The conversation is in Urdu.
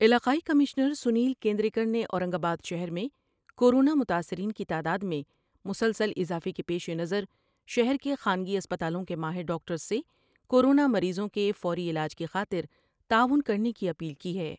علاقائی کمشنر سنیل کیندریکر نے اورنگ آباد شہر میں کورونا متاثرین کی تعداد میں مسلسل اضافے کے پیش نظر شہر کے خانگی اسپتالوں کے ماہر ڈاکٹرس سے کور ونامریضوں کے فوری علاج کی خاطر تعاون کرنے کی اپیل کی ہے ۔